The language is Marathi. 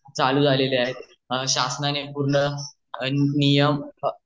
चालू झालेले आहेत शाश्नाने पूर्ण नियम आणि सर्व